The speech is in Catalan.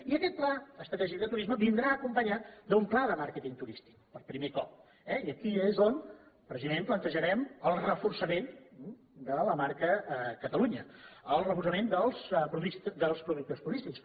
i aquest pla estratègic de turisme vindrà acompanyat d’un pla de màrqueting turístic per primer cop eh i aquí és on precisament plantejarem el reforçament de la marca catalunya el reforçament dels productes turístics